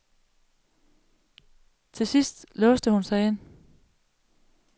Til sidst låste hun sig ind.